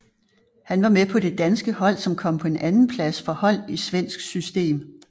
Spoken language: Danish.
Han var med på det danske hold som kom på en andenplads for hold i svensk system